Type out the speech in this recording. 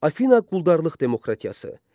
Afina quldarlıq demokratiyası.